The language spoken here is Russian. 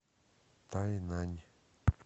тайнань